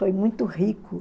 Foi muito rico